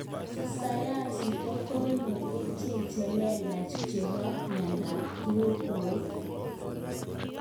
Sayansi kokoyor kerchek chelelach chepore miandap tukoek.